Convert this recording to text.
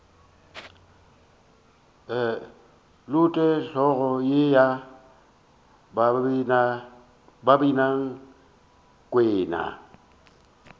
lote hlogo ye ya babinakwena